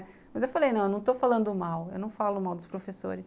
Mas eu falei, não, eu não estou falando mal, eu não falo mal dos professores.